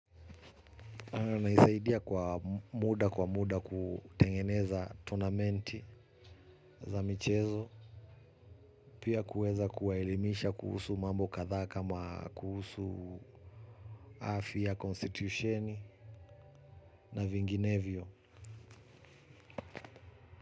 Naisaidia kwa muda kwa muda kutengeneza tonamenti za michezo. Pia kuweza kuwaelimisha kuhusu mambo kadhaa kama kuhusu afya konstitusheni na vinginevyo.